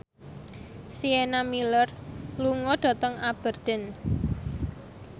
Sienna Miller lunga dhateng Aberdeen